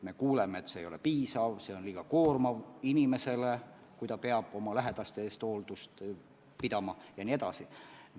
Me kuuleme, et abi ei ole piisav, et inimesele on liiga koormav, kui ta peab oma lähedaste eest hoolitsema, jne.